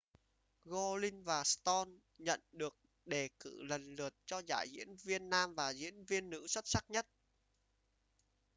gosling và stone nhận được đề cử lần lượt cho giải diễn viên nam và diễn viên nữ xuất sắc nhất